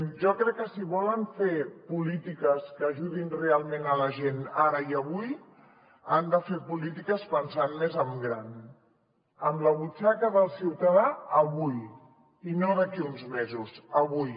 jo crec que si volen fer polítiques que ajudin realment la gent ara i avui han de fer polítiques pensant més en gran en la butxaca del ciutadà avui no d’aquí a uns mesos avui